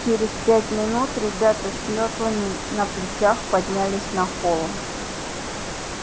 через пять минут ребята с мётлами на плечах поднялись на холм